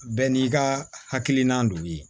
Bɛɛ n'i ka hakilina don ye